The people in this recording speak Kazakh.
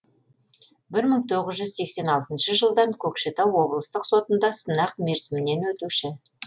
бір мың тоғыз жүз сексен алтыншы жылдан көкшетау облыстық сотында сынақ мерзімінен өтуші